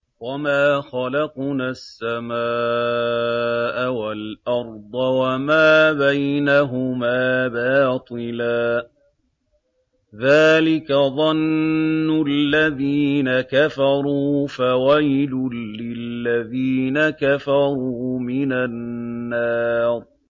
وَمَا خَلَقْنَا السَّمَاءَ وَالْأَرْضَ وَمَا بَيْنَهُمَا بَاطِلًا ۚ ذَٰلِكَ ظَنُّ الَّذِينَ كَفَرُوا ۚ فَوَيْلٌ لِّلَّذِينَ كَفَرُوا مِنَ النَّارِ